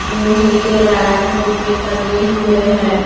लोहे के रैक में टंगे हुए हैं।